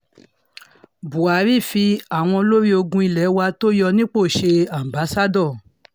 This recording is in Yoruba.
buhari fi àwọn olórí ológun ilé wa tó yọ nípò ṣe aḿbaṣado